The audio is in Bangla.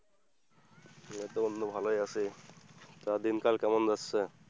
এইতো বন্ধু ভালোই আছি, তারপর দিনকাল কেমন যাচ্ছে?